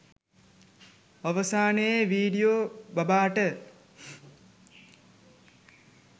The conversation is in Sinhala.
අවසානයේ විඩියෝ බබාට